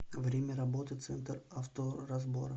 время работы центр авторазбора